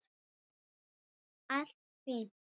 Allt fínt.